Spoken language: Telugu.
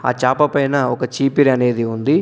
ఆ చాప పైన ఒక చీపిరనేది ఉంది.